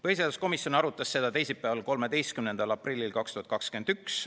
Põhiseaduskomisjon arutas seda teisipäeval, 13. aprillil 2021.